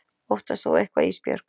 Óttast þú eitthvað Ísbjörg?